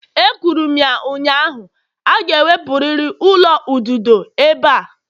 Ekwuru m ya ụnyaahụ, a ga-ewepụrịrị ụlọ ududo ebe a!